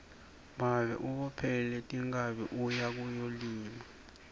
babe ubophele tinkhabi uye kuyolima